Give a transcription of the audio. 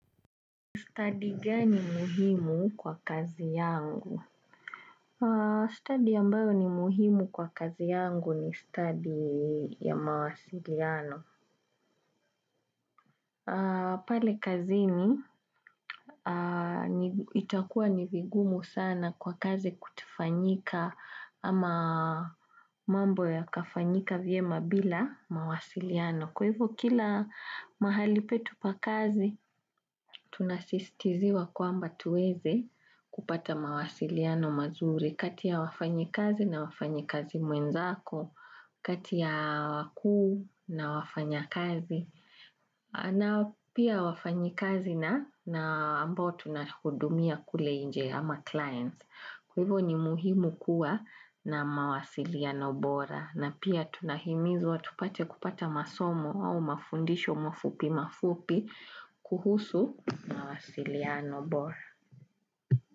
Study gani muhimu kwa kazi yangu? Study ambayo ni muhimu kwa kazi yangu ni study ya mawasiliano. Pale kazini itakua nivigumu sana kwa kazi kutofanyika ama mambo yakafanyika vyema bila mawasiliano. Kwa hivyo kila mahali petu pa kazi, tunasistiziwa kwamba tuweze kupata mawasiliano mazuri, kati ya wafanyikazi na wafanyikazi mwenzako, kati ya wakuu na wafanyikazi, na pia wafanyikazi na ambao tunahudumia kule nje ama clients. Kwa hivyo ni muhimu kuwa na mawasiliano bora na pia tunahimizwa tupate kupata masomo au mafundisho mafupi mafupi kuhusu mawasiliano bora.